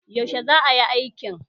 Yaushe za a yi aikin?